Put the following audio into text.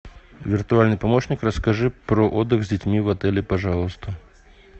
виртуальный помощник расскажи про отдых с детьми в отеле пожалуйста